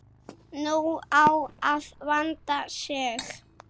Nú á að vanda sig.